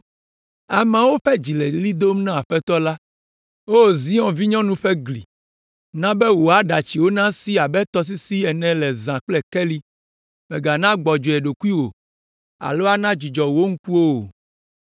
Ameawo ƒe dzi le ɣli dom na Aƒetɔ la. O Zion vinyɔnu ƒe gli, na be wò aɖatsiwo nasi abe tɔsisi ene zã kple keli, mègana gbɔdzɔe ɖokuiwò alo ana dzudzɔ wò ŋkuwo o.